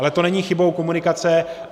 Ale to není chybou komunikace.